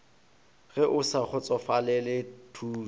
ge o sa kgotsofalele thušo